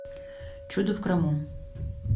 чудо в крыму